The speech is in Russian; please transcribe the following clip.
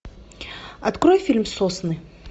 открой фильм сосны